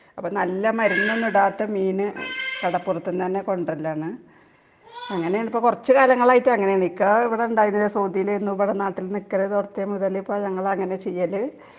നല്ല മരുന്ന് ഒന്നും ഇടാത്ത മീന് കടപ്പുറത്തു നിന്ന് കൊണ്ടുവരൽ ആണ് .കുറച്ചു കാലങ്ങൾ ആയിട്ടു ഇപ്പോ അങ്ങനെ ആണ് .ഇക്ക എവിടെ ഉണ്ടായിരുന്നില്ല .സൗദിയിൽ ആയിരുന്നു .ഇപ്പോ നാട്ടിൽ നിക്കാൻ തുടങ്ങിയെ പിന്നെ ഇപ്പോ അങ്ങനെ ആണ് ചെയ്യല് .